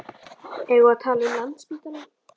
Eigum við að tala um Landspítalann?